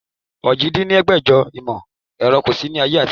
ojì dín ní ẹgbẹ́jọ ìmọ̀ ẹ̀rọ kò sí ní ayé àtijọ́